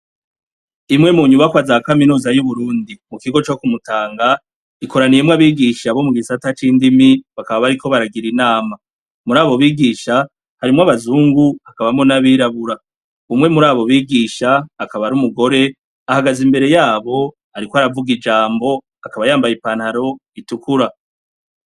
imwe mu nyubakwa za kaminuza y'Uburundi mu kigo co ku Mutanga ikoraniyemwo abigisha bo mu gisata c'indimi bakaba bariko baragira inama, muri abo bigisha harimwo abazungu hakabamwo n'abirabura, umwe muri abo bigisha akaba ar'umugore ahagaze imbere yabo ariko aravuga ijambo akaba yambaye ipantaro itukura.